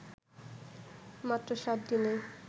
মাত্র সাত দিনেই